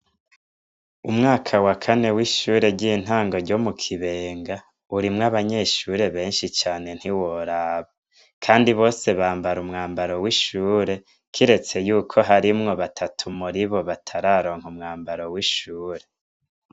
Umwaka wa kane w'ishuri ryintango ryo Mukibenga urimwo abanyeshuri beshi cane ntiworaba kandi bose bambara umwambaro w'ishuri kiretse yuko harimwo batatu muribo batararonka umwambaro w'ishuri.